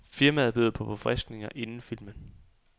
Firmaet byder på forfriskninger inden filmen.